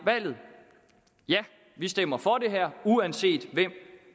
valget ja vi stemmer for det her uanset hvem